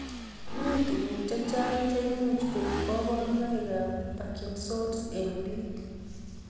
Mi tukuk chechang' cheimuch koip kaparunaikab parkinson's eng' biik